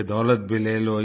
यह दौलत भी ले लो